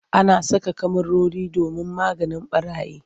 Ana saka kyamarori domin maganin ɓarayi.